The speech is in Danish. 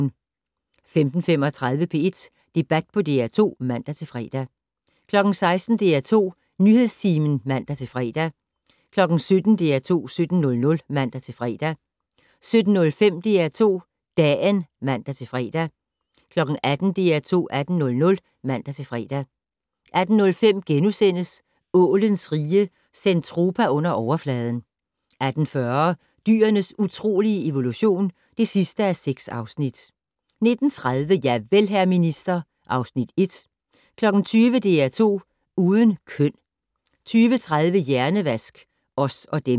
15:35: P1 Debat på DR2 (man-fre) 16:00: DR2 Nyhedstimen (man-fre) 17:00: DR2 17:00 (man-fre) 17:05: DR2 Dagen (man-fre) 18:00: DR2 18:00 (man-fre) 18:05: Ålens Rige - Zentropa Under Overfladen * 18:40: Dyrenes utrolige evolution (6:6) 19:30: Javel, hr. minister (Afs. 1) 20:00: DR2 Uden køn 20:30: Hjernevask - Os og dem